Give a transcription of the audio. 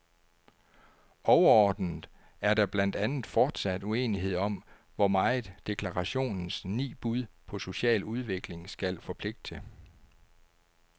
Overordnet er der blandt andet fortsat uenighed om, hvor meget deklarationens ni bud på social udvikling skal forpligte.